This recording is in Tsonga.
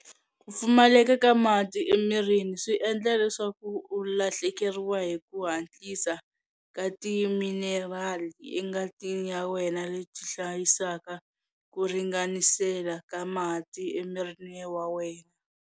Ku pfumaleka ka mati emirini swi nga endla leswaku u lahlekeriwa hi ku hatlisa ka timinerali engatini ya wena leti hlayisaka ku ringanisela ka mati emirini wa wena.